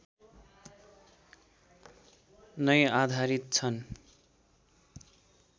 नै आधारित छन्